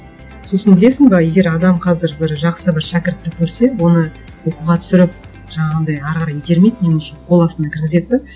сосын білесің бе егер адам қазір бір жақсы бір шәкіртті көрсе оны оқуға түсіріп жаңағындай әрі қарай итермейді меніңше қол астына кіргізеді де